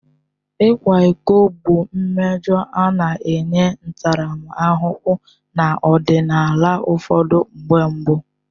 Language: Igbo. Ịkwa iko bụ mmejọ a na-enye ntaramahụhụ n'ọdịnala ụfọdụ mgbe mbụ.